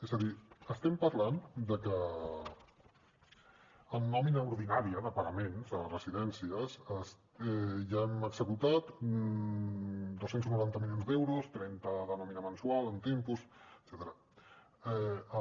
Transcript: és a dir estem parlant de que en nòmina ordinària de pagaments a residències ja hem executat dos cents i noranta milions d’euros trenta de nòmina mensual amb tempos etcètera